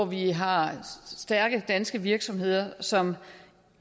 vi har stærke danske virksomheder som